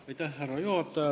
Härra juhataja!